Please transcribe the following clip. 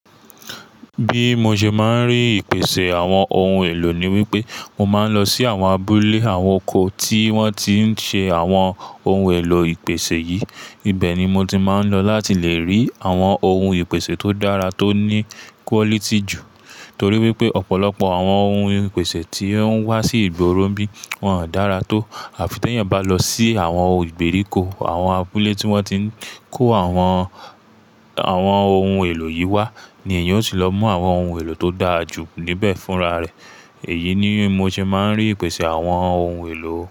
Bí mo ṣe máa ń rí ìpèsè àwọn ohun èlò ni wípé, mo máa ń lọ sí àwọn abúlé àwọn oko tí wọ́n ti ń ṣe àwọn ohun èlò ìpèsè yìí. Ibẹ̀ ni mo ti máa ń lọ láti lè rí àwọn ohun ìpèsè tó dára, tó ní quality jù. Nítorí wípé ọ̀pọ̀lọpọ̀ àwọn ohun ìpèsè tí ó ń wá sí ìgboro n bi wọ́n ò dára tó. Àfi tí èèyàn bá lọ sí àwọn ìgbèríko, àwọn abúlé tí wọ́n ti ń kó àwọn, àwọn ohun èlò yìí wá ni èèyàn ó ti lọ mú àwọn ohun èlò tó dára jù níbẹ̀ fúnra rẹ̀. Èyí ni mo ṣe máa ń rí ìpèsè àwọn ohun èlò.